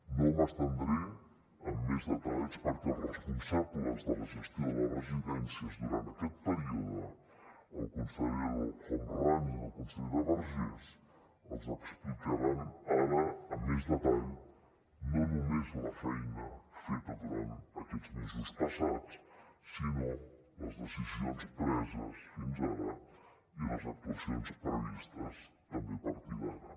no m’estendré amb més detalls perquè els responsables de la gestió de les residències durant aquest període el conseller el homrani i la consellera vergés els explicaran ara amb més detall no només la feina feta durant aquests mesos passats sinó les decisions preses fins ara i les actuacions previstes també a partir d’ara